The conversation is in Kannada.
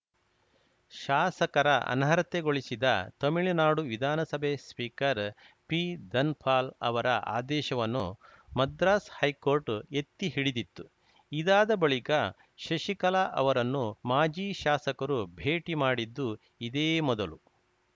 ಶಾಸಕರ ಅನರ್ಹತೆಗೊಳಿಸಿದ ತಮಿಳುನಾಡು ವಿಧಾನಸಭೆ ಸ್ಪೀಕರ್‌ ಪಿಧನ್ ಪಾಲ್‌ ಅವರ ಆದೇಶವನ್ನು ಮದ್ರಾಸ್‌ ಹೈಕೋರ್ಟ್‌ ಎತ್ತಿ ಹಿಡಿದಿತ್ತು ಇದಾದ ಬಳಿಕ ಶಶಿಕಲಾ ಅವರನ್ನು ಮಾಜಿ ಶಾಸಕರು ಭೇಟಿ ಮಾಡಿದ್ದು ಇದೇ ಮೊದಲು